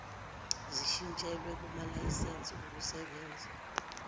zishintshelwe kumalayisense okusebenza